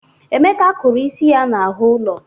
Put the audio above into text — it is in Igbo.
Emeka kụrụ isi ya n'ahụ ụlọ.